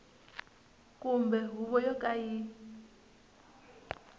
kumbe huvo yo ka yi